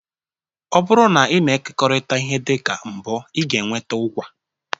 Ọ bụrụ na ị na-ekekọrịta ihe dị ka mbo ị ga-enweta ụgwaa